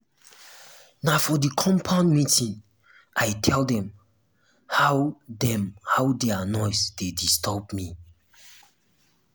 na for di compound meeting i tell dem how dem how their noise dey disturb me.